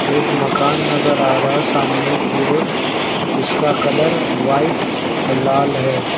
एक मकान नजर आ रहा है सामने की ओर जिसका कलर व्हाइट लाल है।